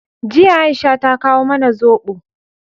Jiya, Aisha ta kawo mana zobo.